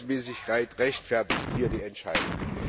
Die Verhältnismäßigkeit rechtfertigt hier diese Entscheidung.